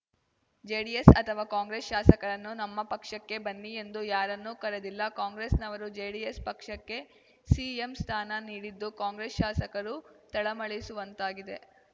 JDS ಅಥವಾ ಕಾಂಗ್ರೆಸ್‌ ಶಾಸಕರನ್ನು ನಮ್ಮ ಪಕ್ಷಕ್ಕೆ ಬನ್ನಿ ಎಂದು ಯಾರನ್ನು ಕರೆದಿಲ್ಲ ಕಾಂಗ್ರೆಸ್‌ನವರು ಜೆಡಿಎಸ್‌ ಪಕ್ಷಕ್ಕೆ ಸಿಎಂ ಸ್ಥಾನ ನೀಡಿದ್ದು ಕಾಂಗ್ರೆಸ್‌ ಶಾಸಕರು ತಳಮಳಿಸುವಂತಾಗಿದೆ